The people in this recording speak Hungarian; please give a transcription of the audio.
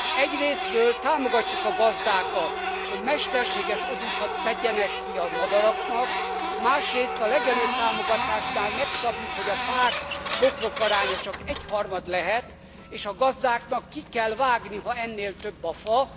Egyrészről támogatjuk a gazdákat, hogy mesterséges odúkat tegyenek ki a madaraknak, másrészt a legelőtámogatásnál megszabjuk, hogy a fák, bokrok aránya csak egyharmad lehet, és a gazdáknak ki kell vágni, ha ennél több a fa.